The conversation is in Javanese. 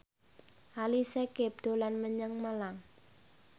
Ali Syakieb dolan menyang Malang